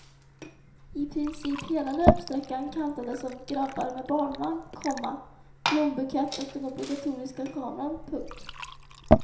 I princip hela löpsträckan kantades av grabbar med barnvagn, komma blombukett och den obligatoriska kameran. punkt